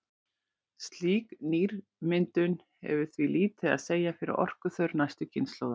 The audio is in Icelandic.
Slík nýmyndun hefur því lítið að segja fyrir orkuþörf næstu kynslóða.